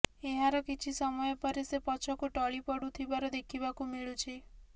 ଏହାର କିଛି ସମୟ ପରେ ସେ ପଛକୁ ଟଳି ପଡ଼ୁଥିବାର ଦେଖିବାକୁ ମିଳୁଛି